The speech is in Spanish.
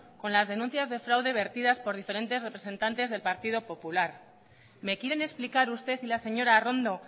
con las denuncias de fraude vertidas por diferentes representantes del partido popular me quieren explicar usted y la señora arrondo